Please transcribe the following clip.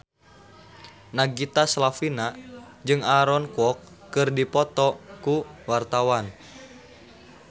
Nagita Slavina jeung Aaron Kwok keur dipoto ku wartawan